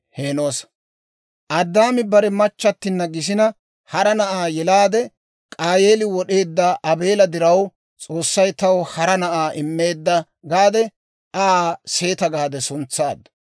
Addaame bare machchattina gisina hara na'aa yelaade, «K'aayeeli wod'eedda Aabeela diraw S'oossay taw hara na'aa immeedda» gaade, Aa Seeta gaade suntsaaddu.